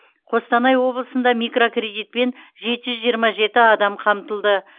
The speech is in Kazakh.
қостанай облысында микрокредитпен жеті жүз жиырма жеті адам қамтылды